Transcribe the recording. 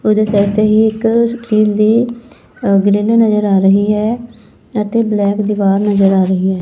ਉਹਦੇ ਸਾਈਡ ਤੇ ਹੀ ਇੱਕ ਸਟੀਲ ਦੀ ਅ ਗ੍ਰਿਲ ਨਜ਼ਰ ਆ ਰਹੀ ਹੈ ਅਤੇ ਬਲੈਕ ਦੀਵਾਰ ਨਜ਼ਰ ਆ ਰਹੀ ਹੈ।